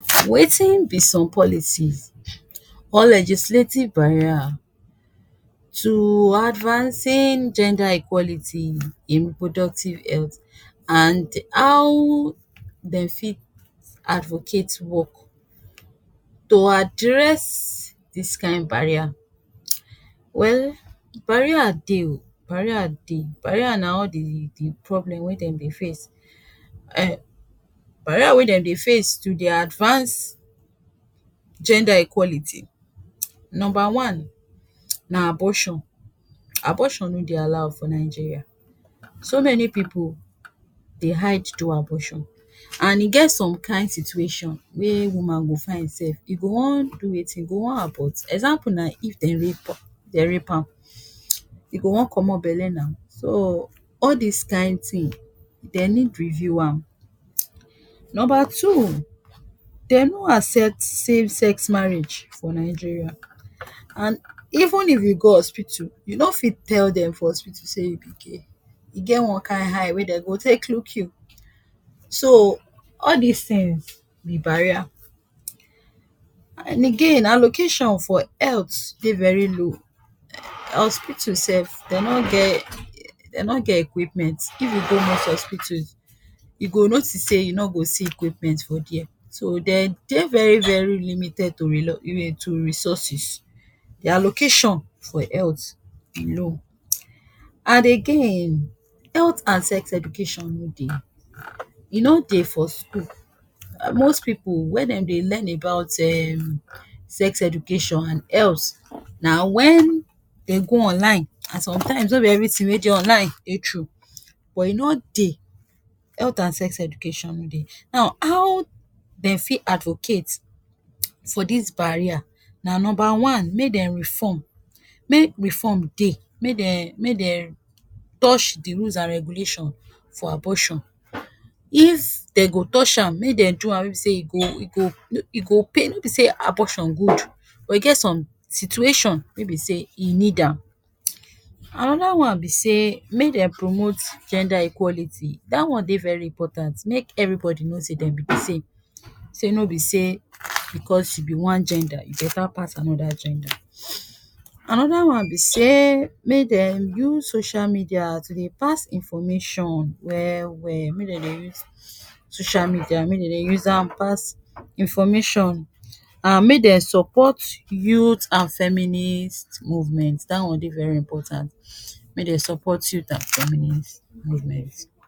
Wetin be some policies or legislative barrier tu advancing gender equality in reproductive health and how dem fit advocate work to address dis kain barrier. Well barrier dey o, barrier dey. Barrier na all di di problem wey dem dey face um barrier wey dem dey face to dier advance gender equality. Number one na abortion. Abortion no dey allow us for Nigeria. So many pipu dey hide do abortion, and e get some kain situation wey woman go find im sef, e go wan do wetin, e go wan abort. Example na if dem rape dem rape am, e go wan komot bele na. So all dis kain tin, den need review am. Number two, den no accept same sex marriage for Nigeria, and even if you go hospital, you no fit tell dem for hospital say you be gay, e get one kain eye wey dey go take look you. So all dis things be barrier. And again, allocation for health dey very low. Hospital sef dey no get dey no get equipment. If you go hospital, you go notice sey you no go see equipment for there, so dey dey very very limited to to resources. de allocation for health e low. And again, health and sex education no dey, e no dey for school. Most pipu, where dem dey learn about um sex education and health na wen den go online, and sometimes no be everytin wey dey online dey true, but e no dey, health and sex education no dey. Now how dem fit advocate for dis barrier na number one, make dem reform, make reform dey. Make den make den touch de rules and regulation for abortion. If den go touch am, make den do am wey be sey e go e go e go pei, no be sey abortion good but e get some situation wey be sey e need am. Anoda one be sey make dem promote gender equality. Dat on dey very important, make everybody know sey dem be di same, sey no be sey becos you be one gender, you beta pass anoda gender. Anoda one be sey make dem use social media tu dey pass information well well. Make dem dey use social media, make dem dey use am pass information and make dem support youth and feminist movement. Dat one den very important. Make den support youth and feminist movement.